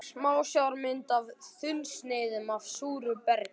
Smásjármynd af þunnsneiðum af súru bergi.